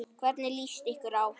Hvernig líst ykkur á?